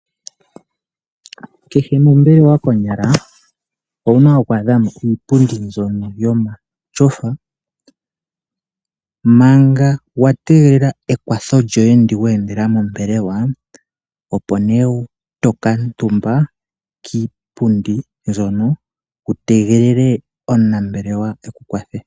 Kehe mombelewa konyala owuna okwadhamo iipundi mbyono yomatyofa manga watengelela ekwatho lyoye ndi wendela mombelewa opo ne tokatumba kiipundi mbyono wutegelele onambelewa ekukwathe.